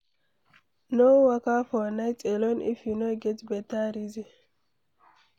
No waka for night alone if you no get beta reason